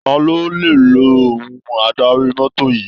Ta ló le lo ohun adarí mọ́tò yìí?